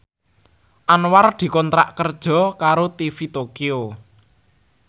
Anwar dikontrak kerja karo TV Tokyo